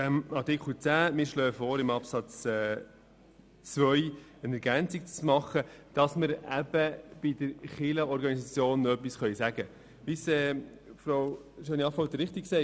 Wir schlagen vor, in Absatz 2 eine Ergänzung in dem Sinne vorzunehmen, dass wir zur Organisation der Kirchen noch etwas sagen können.